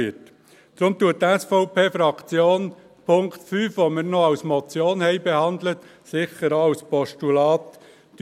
Deshalb lehnt die SVP-Fraktion den Punkt 5, den wir noch als Motion behandelt haben, im Moment sicher auch als Postulat ab.